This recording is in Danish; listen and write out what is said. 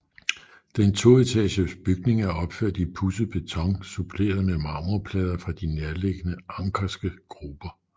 Den toetages bygning er opført i pudset beton suppleret med marmorplader fra de nærliggende Ankerske gruber